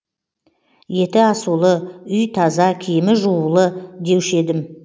еті асулы үй таза киімі жуулы деуші едім